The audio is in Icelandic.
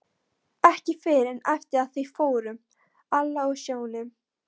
Ekki fyrr en eftir að þau fóru, Alla og Sjóni.